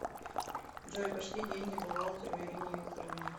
джой пошли деньги бухгалтеру ирине викторовне